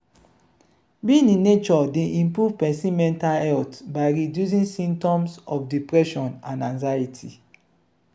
being in nature dey improve pesin mental health by reducing symptoms of depression and anxiety.